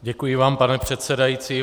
Děkuji vám, pane předsedající.